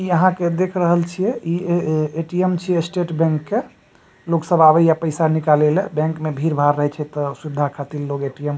यहाँ के देख रहल छिए इ ए ए.टी.एम छी स्टेट बैंक के लोग सब आबे ये पैसा निकाले ला बैंक में भीड़ भाड़ रहे छै ते सुविधा खातिर लोग ए.टी.एम --